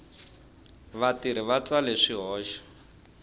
vatirhi va tsale swikoxo